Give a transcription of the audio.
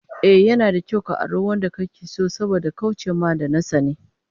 Ehh, yana da kyau ka auri wanda kake so saboda kauce ma da na sani